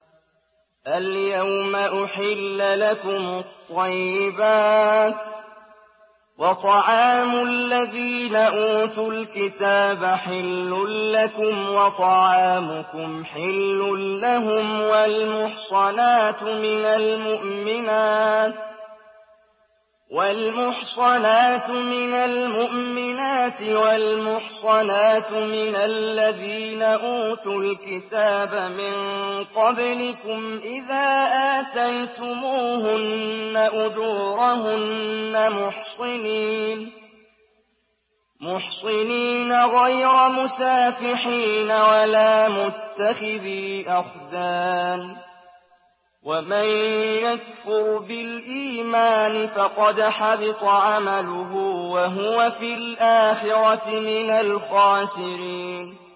الْيَوْمَ أُحِلَّ لَكُمُ الطَّيِّبَاتُ ۖ وَطَعَامُ الَّذِينَ أُوتُوا الْكِتَابَ حِلٌّ لَّكُمْ وَطَعَامُكُمْ حِلٌّ لَّهُمْ ۖ وَالْمُحْصَنَاتُ مِنَ الْمُؤْمِنَاتِ وَالْمُحْصَنَاتُ مِنَ الَّذِينَ أُوتُوا الْكِتَابَ مِن قَبْلِكُمْ إِذَا آتَيْتُمُوهُنَّ أُجُورَهُنَّ مُحْصِنِينَ غَيْرَ مُسَافِحِينَ وَلَا مُتَّخِذِي أَخْدَانٍ ۗ وَمَن يَكْفُرْ بِالْإِيمَانِ فَقَدْ حَبِطَ عَمَلُهُ وَهُوَ فِي الْآخِرَةِ مِنَ الْخَاسِرِينَ